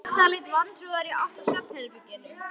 Kjartan leit vantrúaður í átt að svefnherberginu.